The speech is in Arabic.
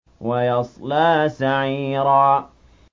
وَيَصْلَىٰ سَعِيرًا